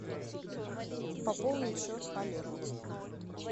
пополнить счет олегу